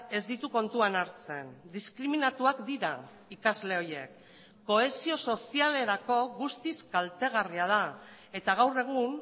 ez ditu kontuan hartzen diskriminatuak dira ikasle horiek kohesio sozialerako guztiz kaltegarria da eta gaur egun